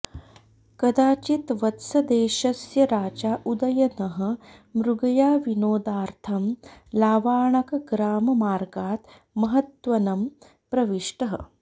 कदाचित् वत्सदेशस्य राजा उदयनः मृगयाविनोदार्थं लावाणकग्राममार्गात् महद्वनं प्रविष्टः